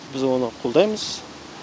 біз оны қолдаймыз